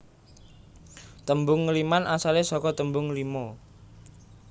Tembung ngliman asale saka tembung lima